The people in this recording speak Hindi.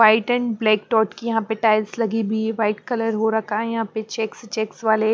वाइट एंड ब्लैक डॉट की यहाँ पे टाइल्स लगी बी वाइट कलर हो रखा है यहाँ पे चेक्स चेक्स वाले--